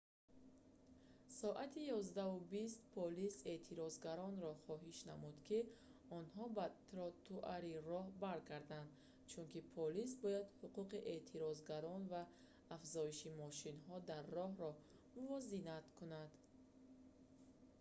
соати 11:20 полис эътирозгаронро хоҳиш намуд ки онҳо ба тротуари роҳ баргарданд чунки полис бояд ҳуқуқи эътирозгарон ва афзоиши мошинҳо дар роҳро мувозинат кунад